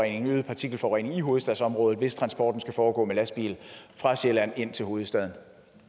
en øget partikelforurening i hovedstadsområdet hvis transporten skal foregå med lastbil fra sjælland og ind til hovedstaden